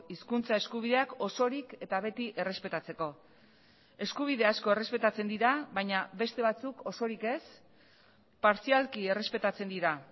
hizkuntza eskubideak osorik eta beti errespetatzeko eskubidea asko errespetatzen dira baina beste batzuk osorik ez partzialki errespetatzen dira